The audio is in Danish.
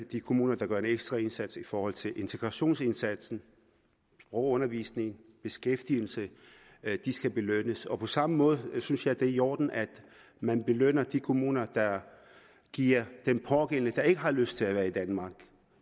de kommuner der gør en ekstra indsats i forhold til integrationsindsatsen sprogundervisningen beskæftigelsen skal belønnes på samme måde synes jeg det er i orden at man belønner de kommuner der giver den pågældende der ikke har lyst til at være i danmark